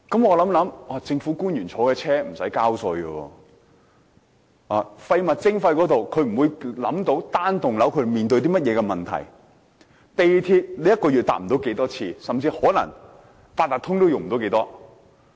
我想想，政府官員坐的汽車不用交稅；廢物徵費方面，他們想象不到單幢大廈所面對甚麼問題；他們一個月不會乘搭太多次港鐵，甚至可能也不會多用八達通。